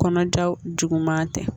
Kɔnɔja juguman tɛ